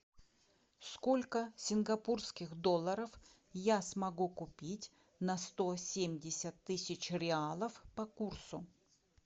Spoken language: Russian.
сколько сингапурских долларов я смогу купить на сто семьдесят тысяч реалов по курсу